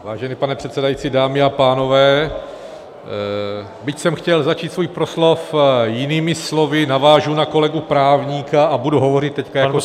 Vážený pane předsedající, dámy a pánové, byť jsem chtěl začít svůj proslov jinými slovy, navážu na kolegu právníka a budu hovořit teď jako technik.